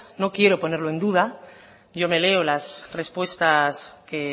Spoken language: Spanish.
no quiero ponerlo en duda yo me leo las respuestas que